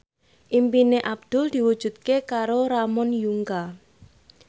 impine Abdul diwujudke karo Ramon Yungka